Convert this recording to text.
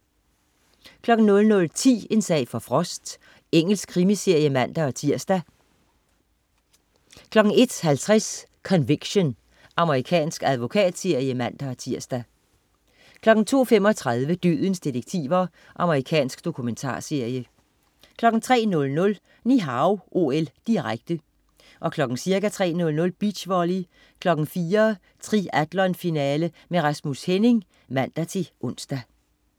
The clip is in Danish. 00.10 En sag for Frost. Engelsk krimiserie (man-tirs) 01.50 Conviction. Amerikansk advokatserie (man-tirs) 02.35 Dødens detektiver. Amerikansk dokumentarserie 03.00 Ni Hao OL, direkte. Ca. kl. 3.00: Beachvolley. 4.00: Triathlonfinale med Rasmus Henning (man-ons)